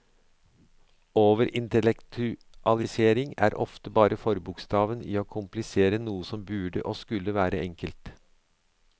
Overintellektualisering er ofte bare forbokstaven i å komplisere noe som burde og skulle være enkelt.